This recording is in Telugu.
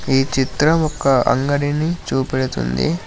ఈ చిత్రం ఒక్క అంగడిని చూపెడుతుంది.